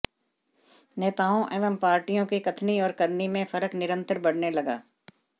नेताओं एवं पार्टियों की कथनी और करनी में फर्क निरन्तर बढऩे लगा